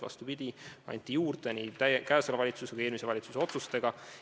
Vastupidi, raha anti juurde nii selle kui ka eelmise valitsuse otsustega.